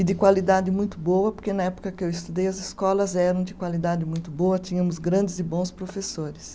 E de qualidade muito boa, porque na época que eu estudei as escolas eram de qualidade muito boa, tínhamos grandes e bons professores.